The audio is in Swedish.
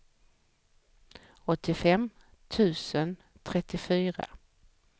åttiofem tusen trettiofyra